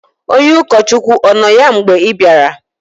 onye ụkọchukwu ọ nọ ya mgbe ị bịara?